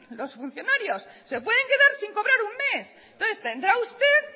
los funcionarios se pueden quedar sin cobrar un mes entonces tendrá usted